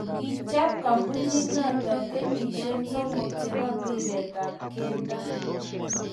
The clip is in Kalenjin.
kichob kambunit noto kenyishe somok che bo mpiret ab kelto